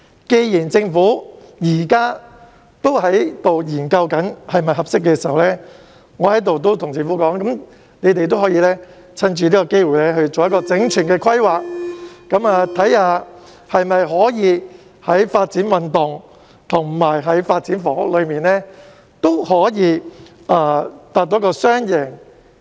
既然政府現時正在研究是否適合發展，我在這裏建議政府藉此機會進行整全的規劃，研究是否可以在發展運動及發展房屋兩方面達致雙贏。